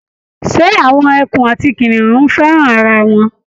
Ṣé awọn ẹkùn àti kìnìún fẹ́ràn ara wọn?